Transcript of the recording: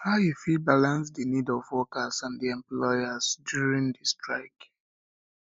how you fit balance di needs of workers and di employers during di strike